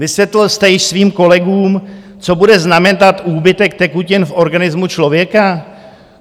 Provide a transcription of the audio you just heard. Vysvětlil jste již svým kolegům, co bude znamenat úbytek tekutin v organismu člověka?